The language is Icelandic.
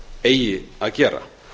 eigi að gera